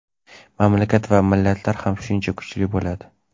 mamlakat va millatlar ham shuncha kuchli bo‘ladi.